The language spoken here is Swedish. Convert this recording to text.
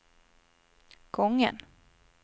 gången